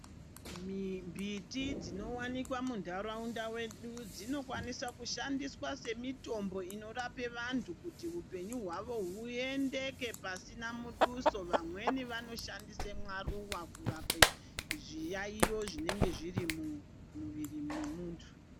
Mbiti dzinowanikwa munharaunda mwedu dzinokwanisa kushandiswa semitombo inorapa vantu, kuti hupenyu hwavo huendeke pasina muduso. Vamweni vanoshandise maruwa kurape zviyaiyo zvinenge zviri mumwiri mwemuntu.